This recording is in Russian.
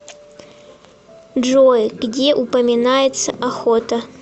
джой где упоминается охота